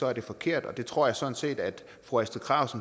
er det forkert og det tror jeg sådan set fru astrid krag